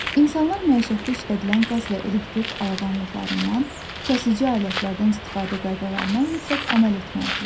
İnsanlar məişətdə işlədilən qaz və elektrik avadanlıqlarından, kəsici alətlərdən istifadə qaydalarına mütləq əməl etməlidirlər.